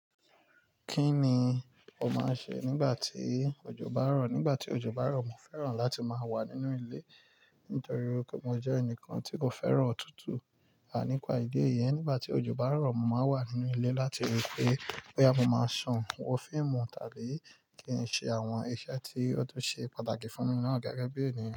Kí ni o máa ń ṣe nígbà tí òjò bá rọ̀? Nígbà tí òjò bá rọ̀, mo fẹ́ràn láti máa wà nínú ilé nítorí wípé mo jẹ́ ẹnìkan tí kò fẹ́ràn òtútù. Nípa ìdí èyí, nígbà tí òjò bá ń rọ̀, mo máa ń wà nínú ilé láti rí i pé, bóyá mo máa sùn, wo fíìmù tàbí kí n ṣe àwọn iṣẹ́ tí ó tún ṣe pàtàkì fún mi náà gẹ́gẹ́ bí ènìyàn.